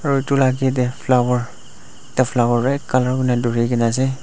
gar tu rati teh flower yeh flower red colour kina duri ki na ase.